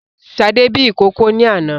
Sadé bí ìkókó ni àná